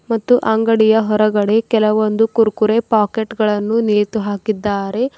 ಮತ್ತು ಅಂಗಡಿಯ ಹೊರಗಡೆ ಕೆಲವೊಂದು ಕುರ್ಕುರೆ ಪಾಕೆಟ್ ಗಳನ್ನು ನೇತು ಹಾಕಿದ್ದಾರೆ.